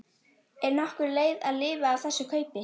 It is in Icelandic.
Er nokkur leið að lifa af þess kaupi